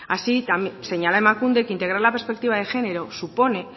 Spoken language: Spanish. así señala emakunde que integrar la perspectiva de género supone